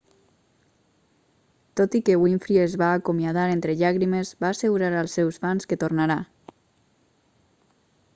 tot i que winfrey es va acomiadar entre llàgrimes va assegurar als seus fans que tornarà